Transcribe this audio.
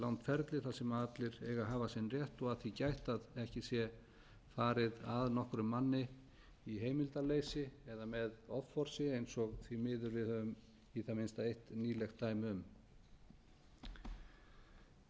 þar sem allir eiga að hafa sinn rétt og að því gætt að ekki sé farið að nokkrum manni í heimildarleysi eða með offorsi eins og ári miður við höfum í það minnsta eitt nýlegt